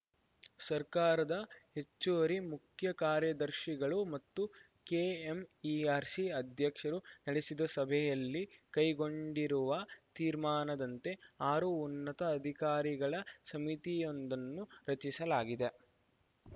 ಸರ್ಕಾರದ ಹೆಚ್ಚುವರಿ ಮುಖ್ಯ ಕಾರ್ಯದರ್ಶಿಗಳು ಮತ್ತು ಕೆಎಂಇಆರ್‌ಸಿ ಅಧ್ಯಕ್ಷರು ನಡೆಸಿದ ಸಭೆಯಲ್ಲಿ ಕೈಗೊಂಡಿರುವ ತೀರ್ಮಾನದಂತೆ ಆರು ಉನ್ನತ ಅಧಿಕಾರಿಗಳ ಸಮಿತಿಯೊಂದನ್ನು ರಚಿಸಲಾಗಿದೆ